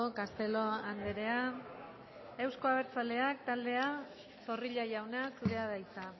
castelo andrea euzko abertzaleak taldea zorrilla jauna zurea da hitza